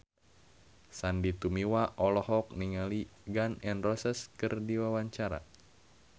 Sandy Tumiwa olohok ningali Gun N Roses keur diwawancara